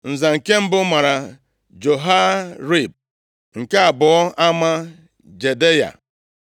Nza nke mbụ mara Jehoiarib nke abụọ a maa Jedaya